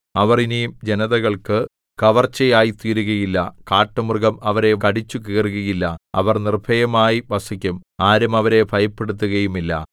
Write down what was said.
അവർ ഇനി ജനതകൾക്കു കവർച്ച ആയിത്തീരുകയില്ല കാട്ടുമൃഗം അവരെ കടിച്ചു കീറുകയില്ല അവർ നിർഭയമായി വസിക്കും ആരും അവരെ ഭയപ്പെടുത്തുകയുമില്ല